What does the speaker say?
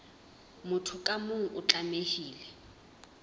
motho ka mong o tlamehile